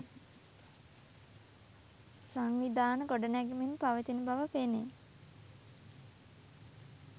සංවිධාන ගොඩ නැගෙමින් පවතින බව පෙනේ.